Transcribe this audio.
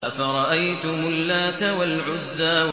أَفَرَأَيْتُمُ اللَّاتَ وَالْعُزَّىٰ